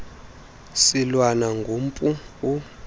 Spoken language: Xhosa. silwana gumpu u